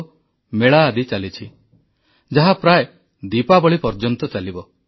ସେପ୍ଟେମ୍ବରରେ ସାରାଦେଶରେ ପୋଷଣ ଅଭିଯାନ କୁପୋଷଣ ବିରୋଧୀ ଲଢେଇରେ ଯୋଗଦେବାକୁ ଦେଶବାସୀଙ୍କୁ ପ୍ରଧାନମନ୍ତ୍ରୀଙ୍କ ପରାମର୍ଶ